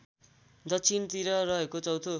दक्षिणतिर रहेको चौथो